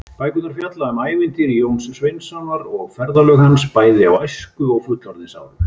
Bækurnar fjalla um ævintýri Jóns Sveinssonar og ferðalög hans, bæði á æsku- og fullorðinsárum.